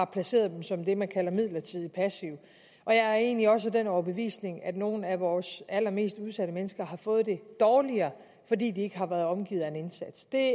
placeret dem som det man kalder midlertidig passive jeg er egentlig også af den overbevisning at nogle af vores allermest udsatte mennesker har fået det dårligere fordi de ikke har været omgivet af en indsats det